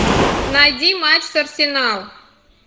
найди матч с арсеналом